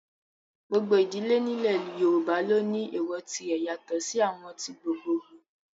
Gbogbo idile ni ilẹ yoruba lo ni ééwọ́ tire yato si awọn ti gbogboogbo